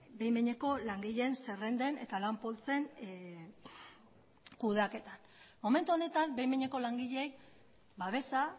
behin behineko langileen zerrenden eta lan poltsen kudeaketa momentu honetan behin behineko langileei babesa